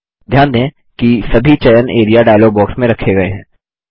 ध्यान दें कि सभी चयन एआरईए डायलॉग बॉक्स में रखे गये हैं